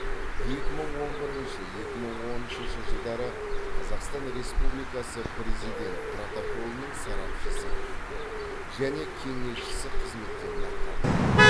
екі мың он бірінші екі мың он үшінші жылдары қазақстан республикасы президент протоколының сарапшысы және кеңесшісі қызметтерін атқарды